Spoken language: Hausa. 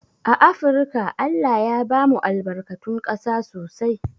A afrika ALLAH ya bamu albarkatun ƙasa sosai